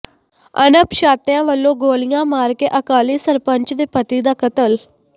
ਅਣਪਛਾਤਿਆਂ ਵਲੋਂ ਗੋਲੀਆਂ ਮਾਰ ਕੇ ਅਕਾਲੀ ਸਰਪੰਚ ਦੇ ਪਤੀ ਦਾ ਕਤਲ